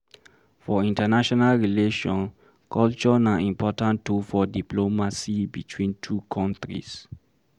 For international relation culture na important tool for diplomacy between two countries